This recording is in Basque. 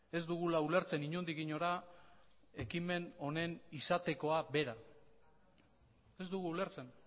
ez dugula ulertzen inondik inora ekimen honen izatekoa bera ez dugu ulertzen